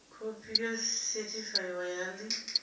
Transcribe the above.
khophi yo sethifaiwaho ya ḽi